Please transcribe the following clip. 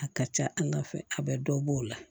A ka ca ala fɛ a bɛ dɔ b'o la